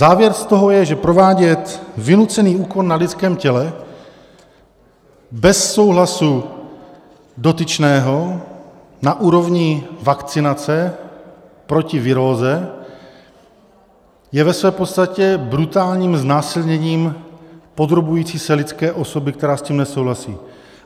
Závěr z toho je, že provádět vynucený úkon na lidském těle bez souhlasu dotyčného na úrovni vakcinace proti viróze je ve své podstatě brutálním znásilněním podrobující se lidské osoby, která s tím nesouhlasí.